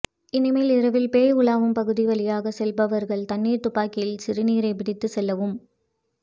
இனிமேல் இரவில் பேய் உலவும் பகுதி வழியாக செல்பவர்கள் தண்ணீர் துப்பாக்கியில் சிறுநீரை பிடித்து செல்லவும்